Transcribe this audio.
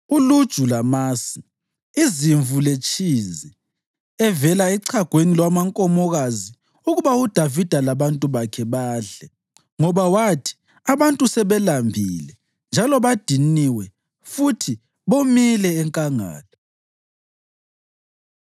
uluju lamasi, izimvu, letshizi evela echagweni lwamankomokazi ukuba uDavida labantu bakhe badle. Ngoba bathi, “Abantu sebelambile njalo badiniwe futhi bomile enkangala.”